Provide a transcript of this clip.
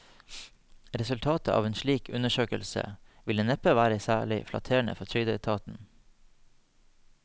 Resultatet av en slik undersøkelse ville neppe være særlig flatterende for trygdeetaten.